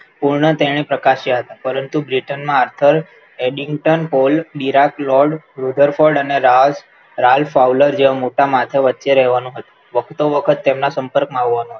પુણપણે પ્રકાશ્યા હતા પરંતુ Britain marthal, editor Paul, Virat lord, Ruther Ford અને roll founder જેવા મોટા માથા વચ્ચે રહેવાનું હતું વકતો વખત તેમના સંપર્કમાં આવવાનું હતું